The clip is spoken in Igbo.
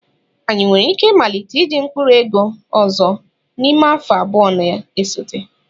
Anyị nwere ike ịmalite iji mkpụrụ ego ọzọ n'ime afọ abụọ na-esote.